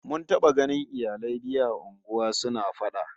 Mun taba ganin iyalai biyu a unguwa suna fada